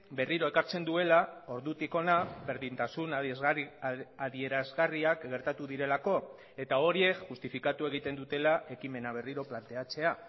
berriro ekartzen duela ordutik hona berdintasun adierazgarriak gertatu direlako eta horiek justifikatu egiten dutela ekimena berriro planteatzea